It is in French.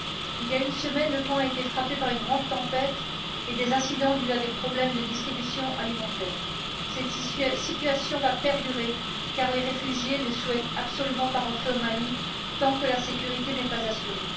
Il y a une semaine, le camp a été frappé par une grande tempête et des incidents dus à des problèmes de distribution alimentaire. Cette situation va perdurer car les réfugiés ne souhaitent absolument pas rentrer au Mali tant que la sécurité n'est pas assurée.